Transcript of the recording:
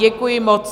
Děkuji moc.